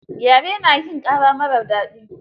Gyare na hin ƙara marar daɗi.